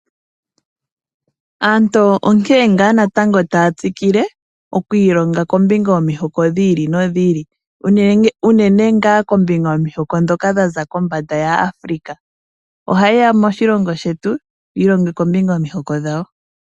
Aantu onkene ngaa natango taya tsikile oku ilonga kombinga yomihoko dhi ili nadhi ili unene ngaa kombinga yomihoko ndhoka dha za kombanda ya Africa. Oha yeya moshilongo shetu yi i longe kombinga yomihoko dhawo.